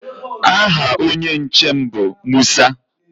Aha onye nche m bụ Musa.